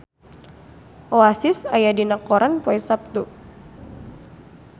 Oasis aya dina koran poe Saptu